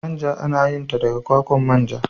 Manja ana yin ta daga kwakwan manja.